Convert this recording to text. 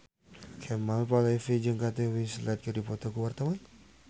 Kemal Palevi jeung Kate Winslet keur dipoto ku wartawan